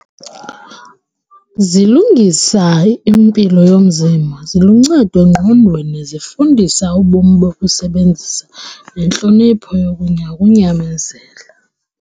Zilungisa impilo yomzimba, ziluncedo engqondweni, zifundisa ubomi bokusebenzisa intlonipho ukunyamezela.